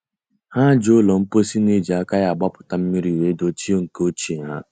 Ha ji ụlọ mposi na-eji aka ya agbapụta mmiri wee dochie nke ochie ha.